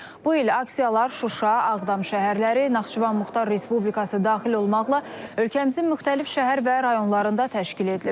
Bu il aksiyalar Şuşa, Ağdam şəhərləri, Naxçıvan Muxtar Respublikası daxil olmaqla ölkəmizin müxtəlif şəhər və rayonlarında təşkil edilib.